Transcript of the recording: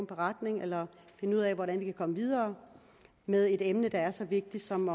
beretning eller finde ud af hvordan vi kan komme videre med et emne der er så vigtigt som